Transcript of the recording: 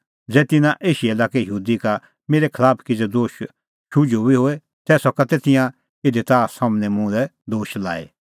ज़ै तिन्नां एशिया लाक्के यहूदी का मेरै खलाफ किज़ै दोश शुझुअ बी होए तै सका तै तिंयां इधी ताह सम्हनै मुल्है दोश लाई